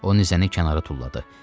Onun nizəni kənara tulladı.